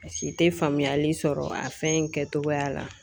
Paseke te faamuyali sɔrɔ a fɛn in kɛcogoya la